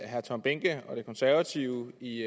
herre tom behnke og de konservative i